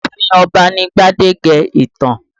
Ààfin Ọba ni gbadege ìtàn